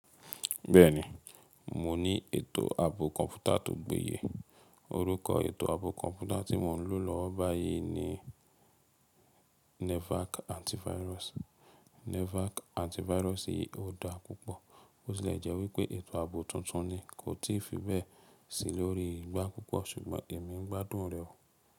Bẹ́ẹ̀ni, mo ní ètò ààbò kọ̀ǹpútà tó gbé yè. Orúkọ ètò ààbò kọ̀ǹpútà tí mo ń lò lọ́wọ́ báyìí ni Nevac Antivirus. Nevac Antivirus si yìí ò dá púpọ̀. Bo ti le jẹ́ wípé ètò ààbò tuntun ni, kò tí ì fi bẹ́ẹ̀ sí i lórí igbá púpọ̀, ṣùgbọ́n èmi ń gbádùn rẹ o.